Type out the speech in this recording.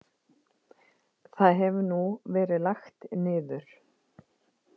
Það hefur nú verið lagt niður.